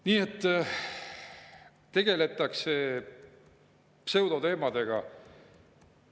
Nii et tegeletakse pseudoteemadega.